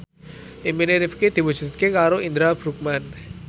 impine Rifqi diwujudke karo Indra Bruggman